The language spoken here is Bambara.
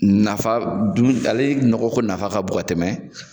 Nafa dun a le nɔgɔ ko de nafa ka bon ka tɛmɛ